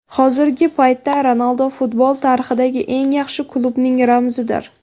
Hozirgi paytda Ronaldu futbol tarixidagi eng yaxshi klubning ramzidir.